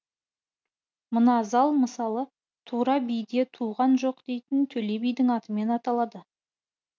мына зал мысалы тура биде туған жоқ дейтін төле бидің атымен аталады